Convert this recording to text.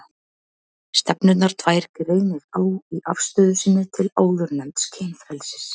Stefnurnar tvær greinir á í afstöðu sinni til áðurnefnds kynfrelsis.